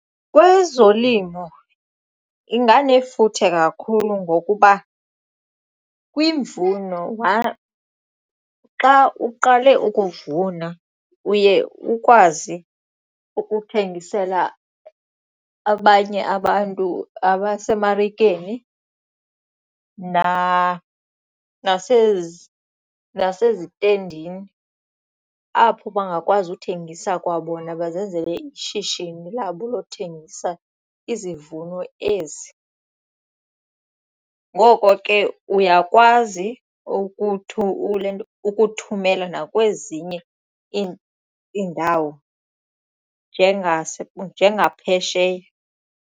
Kwezolimo inganefuthe kakhulu ngokuba kwimvuno xa uqale ukuvuna uye ukwazi ukuthengisela abanye abantu abasemarikeni nasezitendini apho bangakwazi ukuthengisa kwabona bazenzele ishishini labo lothengisa izivuno ezi. Ngoko ke uyakwazi ukuthumela nakwezinye iindawo njegaphesheya.